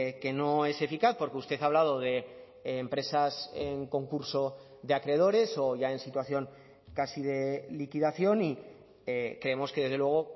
que no es eficaz porque usted ha hablado de empresas en concurso de acreedores o ya en situación casi de liquidación y creemos que desde luego